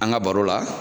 An ka baro la